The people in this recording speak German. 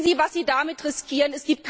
Wissen Sie, was Sie damit riskieren?